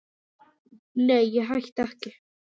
Nei, ég hætti ekki.